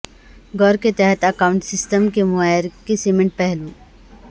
غور کے تحت اکاونٹنگ سسٹم کے معیار کے سمنٹ پہلو